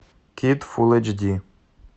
кит фул эйч ди